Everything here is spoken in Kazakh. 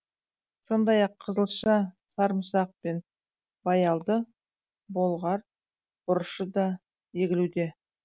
сондай ақ қызылша сарымсақ пен баялды болғар бұрышы да егілуде